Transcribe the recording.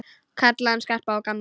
Kalla hann Skarpa og gamla!